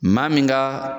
Maa min ka